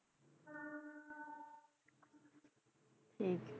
ਠੀਕ ਹੈ।